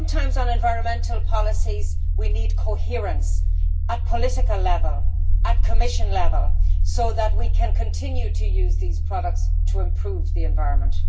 Sometimes, on environmental policies, we need coherence at political level and at Commission level, so that we can continue to use these products to improve the environment.